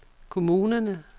kommunerne